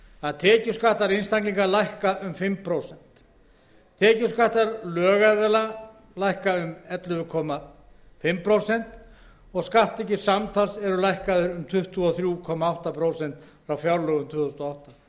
að tekjuskattar einstaklinga lækka um fimm prósent tekjuskattar lögaðila um ellefu og hálft prósent skatttekjur samtals eru lækkaðar um tuttugu og þrjú komma átta prósent frá fjárlögum tvö þúsund og átta